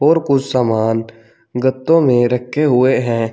और कुछ सामान गत्तो में रखे हुए हैं।